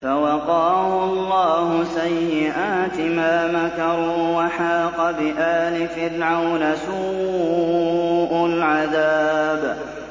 فَوَقَاهُ اللَّهُ سَيِّئَاتِ مَا مَكَرُوا ۖ وَحَاقَ بِآلِ فِرْعَوْنَ سُوءُ الْعَذَابِ